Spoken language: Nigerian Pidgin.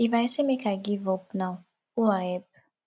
if i say make i give up now who i help